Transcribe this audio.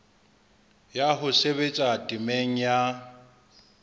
ya ho sebetsa temeng ya